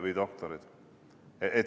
Või doktorid.